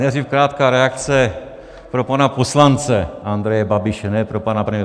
Nejdřív krátká reakce pro pana poslance Andreje Babiše - ne pro pana premiéra.